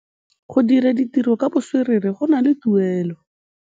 Go dira ditirô ka botswerere go na le tuelô.